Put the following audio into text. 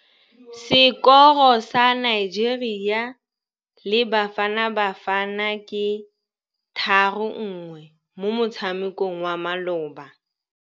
Sekôrô sa Nigeria le Bafanabafana ke 3-1 mo motshamekong wa malôba.